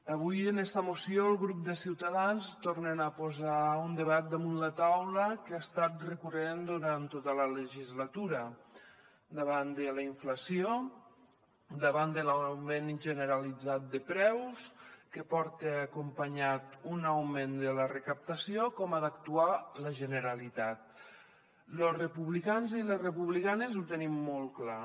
avui en esta moció el grup de ciutadans tornen a posar un debat damunt la taula que ha estat recurrent durant tota la legislatura davant de la inflació davant de l’augment generalitzat de preus que porta acompanyat un augment de la recaptació com ha d’actuar la generalitat los republicans i les republicanes ho tenim molt clar